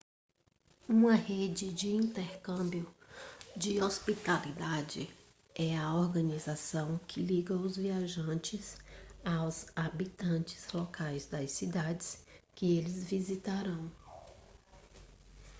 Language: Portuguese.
uma rede de intercâmbio de hospitalidade é a organização que liga os viajantes aos habitantes locais das cidades que eles visitarão